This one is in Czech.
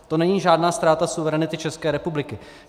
To není žádná ztráta suverenity České republiky.